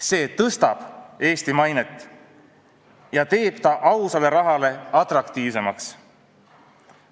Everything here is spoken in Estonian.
See tõstab Eesti mainet ja teeb Eesti ausale rahale atraktiivsemaks.